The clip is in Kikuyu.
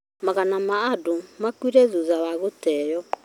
Magana ma andũ makuire thutha wa gũteeo